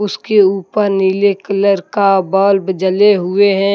उसके ऊपर नीले कलर का बल्ब जले हुए है।